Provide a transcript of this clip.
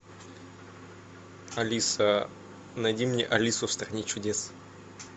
алиса найди мне алису в стране чудес